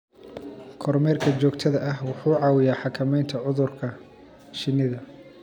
Kormeerka joogtada ah wuxuu caawiyaa xakameynta cudurka shinnida.